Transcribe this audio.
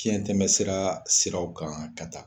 Tiɲɛtɛmɛsira siraw kan ka taa..